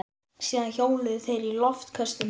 Síðan hjóluðu þeir í loftköstum heim.